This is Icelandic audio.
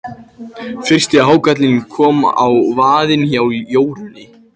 Fyrsti hákarlinn kom á vaðinn hjá Jórunni.